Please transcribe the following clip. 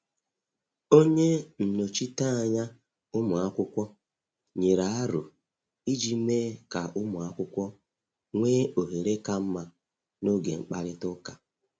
Onye nnọchiteanya ụmụ akwụkwọ nyere aro iji mee ka ụmụ akwụkwọ nwee ohere ka mma n’oge mkparịta ụka.